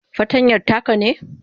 fartanyan taka ne?